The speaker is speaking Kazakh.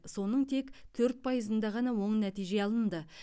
соның тек төрт пайызында ғана оң нәтиже алынды